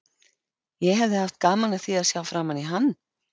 Ég hefði haft gaman af því að sjá framan í hann.